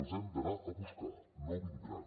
els hem d’anar a buscar no vindran